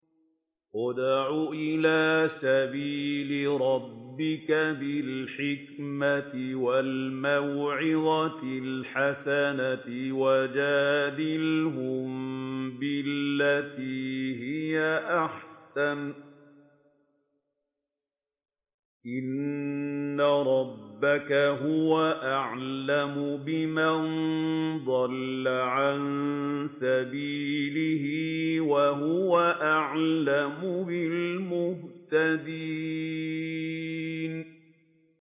ادْعُ إِلَىٰ سَبِيلِ رَبِّكَ بِالْحِكْمَةِ وَالْمَوْعِظَةِ الْحَسَنَةِ ۖ وَجَادِلْهُم بِالَّتِي هِيَ أَحْسَنُ ۚ إِنَّ رَبَّكَ هُوَ أَعْلَمُ بِمَن ضَلَّ عَن سَبِيلِهِ ۖ وَهُوَ أَعْلَمُ بِالْمُهْتَدِينَ